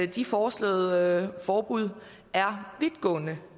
de foreslåede forbud er vidtgående